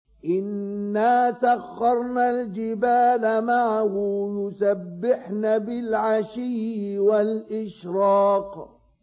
إِنَّا سَخَّرْنَا الْجِبَالَ مَعَهُ يُسَبِّحْنَ بِالْعَشِيِّ وَالْإِشْرَاقِ